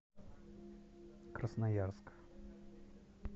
красноярск